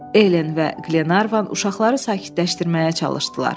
Elen və Glenarvan uşaqları sakitləşdirməyə çalışdılar.